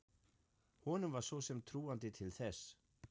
Honum var svo sem trúandi til þess.